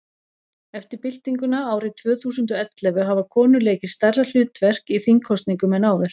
eftir byltinguna árið tvö þúsund og og ellefu hafa konur leikið stærra hlutverk í þingkosningum en áður